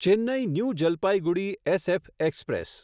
Chennai new Jalpaiguri SF express